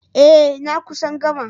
Eh. na kusan gama